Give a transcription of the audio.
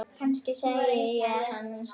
Kannski sæi ég hann seinna.